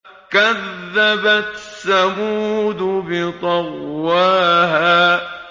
كَذَّبَتْ ثَمُودُ بِطَغْوَاهَا